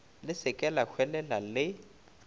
le se ke lahwelela le